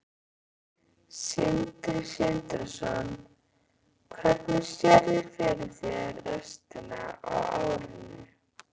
Sindri Sindrason: Hvernig sérðu fyrir þér restina af árinu?